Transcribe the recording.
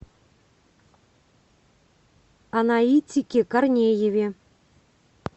анаитике корнееве